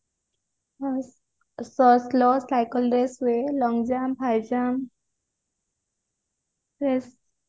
cycle race ହୁଏ long jump high jump ହୁଏ